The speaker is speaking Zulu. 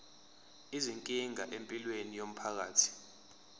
izinkinga empilweni yomphakathi